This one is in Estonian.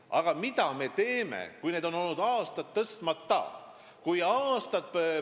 Aga mida me teeme, kui neid palkasid pole aastaid tõstetud?